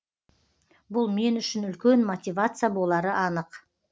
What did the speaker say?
бұл мен үшін үлкен мотивация болары анық